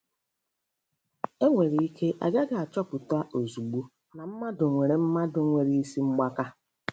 E nwere ike a gaghị achọpụta ozugbo na mmadụ nwere mmadụ nwere isi mgbaka.